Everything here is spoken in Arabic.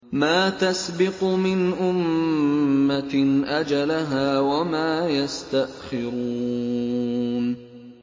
مَّا تَسْبِقُ مِنْ أُمَّةٍ أَجَلَهَا وَمَا يَسْتَأْخِرُونَ